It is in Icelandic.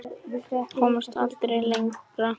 Komst aldrei lengra.